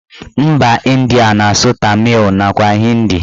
Mba Ịndia na-asụ tamịl nakwa hindi